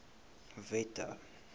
wette